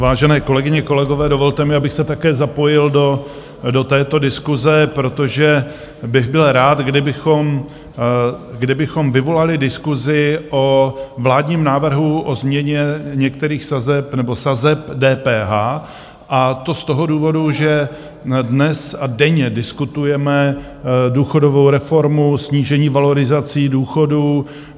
Vážené kolegyně, kolegové, dovolte mi, abych se také zapojil do této diskuse, protože bych byl rád, kdybychom vyvolali diskusi o vládním návrhu o změně některých sazeb nebo sazeb DPH, a to z toho důvodu, že dnes a denně diskutujeme důchodovou reformu, snížení valorizací důchodů.